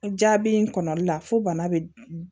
Jaabi in kɔnɔli la fo bana bɛ